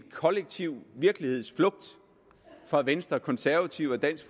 kollektiv virkelighedsflugt fra venstre konservative og dansk